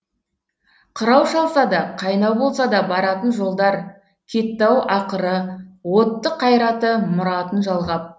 қырау шалса да қайнау болса да баратын жолдар кетті ау ақыры отты қайраты мұратын жалғап